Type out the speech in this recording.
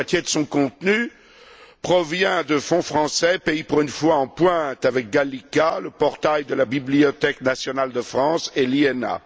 La moitié de son contenu provient de fonds français, pays pour une fois à la pointe avec Gallica le portail de la Bibliothèque nationale de France, et avec l'INA.